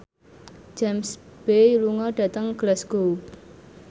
James Bay lunga dhateng Glasgow